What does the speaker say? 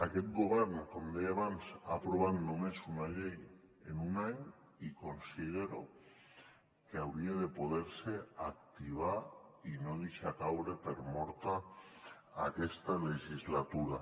aquest govern com deia abans ha aprovat només una llei en un any i considero que hauria de poder se activar i no deixar caure per morta aquesta legislatura